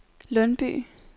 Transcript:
Lundby